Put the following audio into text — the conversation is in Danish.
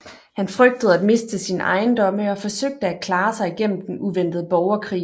Han frygtede at miste sine ejendomme og forsøgte at klare sig igennem den uventede borgerkrig